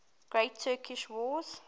great turkish war